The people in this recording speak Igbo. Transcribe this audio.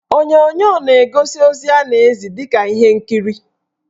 Onyonyo na-egosi ozi a na-ezi dịka ihe nkiri.